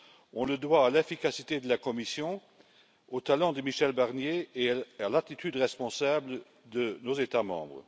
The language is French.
On la doit à l'efficacité de la Commission, au talent de Michel Barnier et à l'attitude responsable de nos États membres.